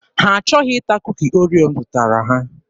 Ha achọghị ịta Kuki Oreo m zụtara ha.